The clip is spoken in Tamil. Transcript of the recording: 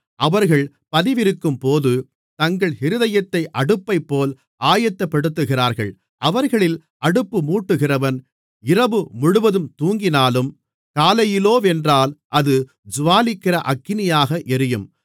அவர்கள் பதிவிருக்கும்போது தங்கள் இருதயத்தை அடுப்பைப்போல் ஆயத்தப்படுத்துகிறார்கள் அவர்களில் அடுப்புமூட்டுகிறவன் இரவுமுழுவதும் தூங்கினாலும் காலையிலோவென்றால் அது ஜூவாலிக்கிற அக்கினியாக எரியும்